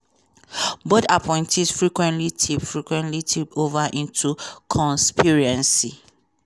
both appointees frequently tip frequently tip ova into conspiracy.